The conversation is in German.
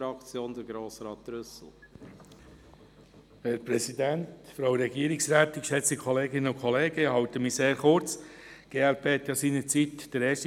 Die glp lehnte ja seinerzeit den ersten Kre- dit für Wileroltigen aus Kostengründen ab;